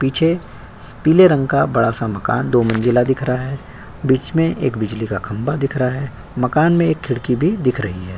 पीछे पीले रंग का बड़ा-सा मकान दो मंजिला दिख रहा है। बीच में एक बिजली का खंबा दिख रहा है। मकान में एक खिड़की भी दिख रही है।